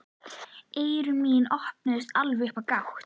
Eyru mín opnuðust alveg upp á gátt.